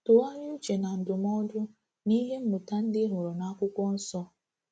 Tụgharịa uche na ndụmọdụ na ihe mmụta ndị ị hụrụ na akwụkwọ nsọ.